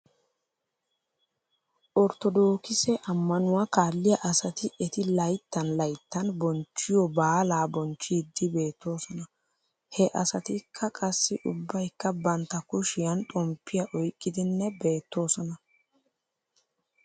Orttodookise ammanuwaa kaalliyaa asati eti layttan layttan bonchchiyoo baalaa bonchchiiddi beettoosona. He asatikka qassi ubbaykka bantta kushshiyan xomppiyaa oyqqidinne beettoosona.